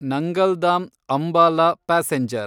Nangal dam Ambala passenger